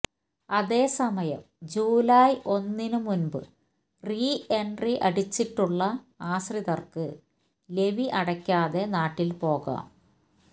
അതേസമയം ജൂലായ് ഒന്നിനു മുമ്പ് റീ എന്ട്രി അടിച്ചിട്ടുള്ള ആശ്രിതര്ക്ക് ലെവി അടക്കാതെ നാട്ടില് പോകാം